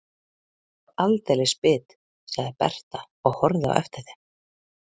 Ég er svo aldeilis bit, sagði Berta og horfði á eftir þeim.